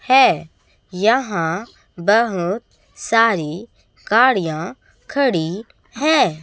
है यहां बहुत सारी गाड़ियां खड़ी है।